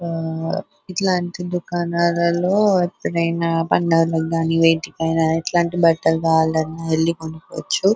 ఆ ఇట్లాంటి దుకనల్లలో ఎప్పుడు ఆయన పండగలాకానీ వెతికైనా ఇట్లాంటి బట్టలు కావాలన్నా వెళ్లి కొనుకోవచ్చు.